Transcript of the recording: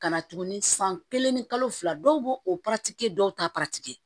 Ka na tuguni san kelen ni kalo fila dɔw b'o o kɛ dɔw t'a kɛ